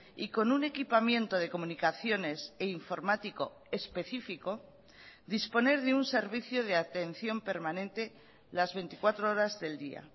y con un equipamiento de comunicaciones e informático específico disponer de un servicio de atención permanente las veinticuatro horas del día